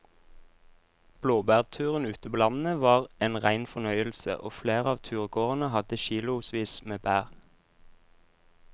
Blåbærturen ute på landet var en rein fornøyelse og flere av turgåerene hadde kilosvis med bær.